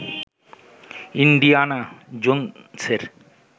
Indiana জোনসের